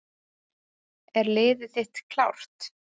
Er liðið þitt klárt?